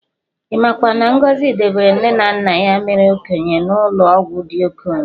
Imakwa na Ngozi debere nne na nna ya mere okenye n'ụlọ ọgwụ ndị okenye